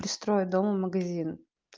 пристроят дому магазин